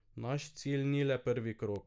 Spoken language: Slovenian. Naš cilj ni le prvi krog.